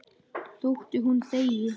Þótt hún þegi.